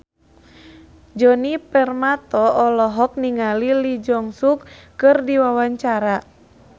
Djoni Permato olohok ningali Lee Jeong Suk keur diwawancara